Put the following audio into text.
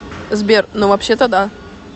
сбер ну вообще то да